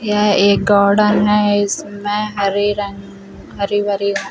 यह एक गार्डन है इसमें हरे रंग अ हरे -भरे घास --